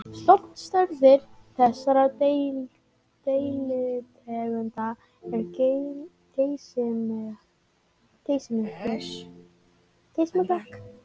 Stofnstærðir þessara deilitegunda eru geysimiklar.